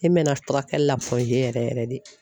E mɛna furakɛli la yɛrɛ yɛrɛ yɛrɛ de